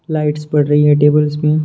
Lights पड़ रही है टेबल्स में।